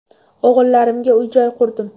O‘g‘illarimga uy-joy qurdim.